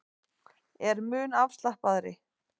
Er mun afslappaðri